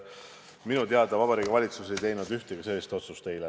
Minu teada Vabariigi Valitsus ei teinud eile ühtegi sellist otsust.